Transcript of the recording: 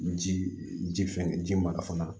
Ji ji fɛn ji mara fana